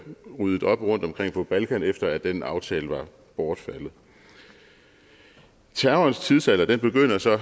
ryddet op rundtomkring på balkan efter at den aftale var bortfaldet terrorens tidsalder begynder så